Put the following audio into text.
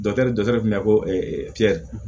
Dɔkitɛri dɔ tun bɛ